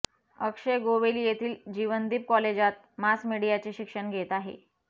अक्षय गोवेली येथील जीवनदीप कॉलेजात मास मीडियाचे शिक्षण घेत आहे